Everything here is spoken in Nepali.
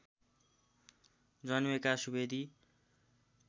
जन्मेका सुवेदी